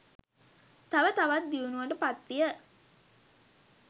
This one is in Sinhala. තව තවත් දියුණුවට පත්විය.